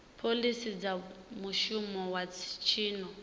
phoḽisi dza muvhuso wa tshino